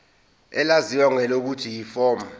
elaziwa ngelokuthi yiform